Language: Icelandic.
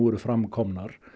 eru fram komnar